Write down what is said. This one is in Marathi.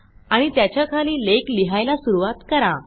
आणि त्याच्याखाली लेख लिहायला सुरूवात करा